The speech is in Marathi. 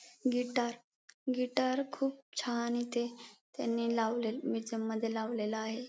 गिटार गिटार खूप छान इथे त्यांनी लावले मुजिअम मध्ये लावलेल आहे.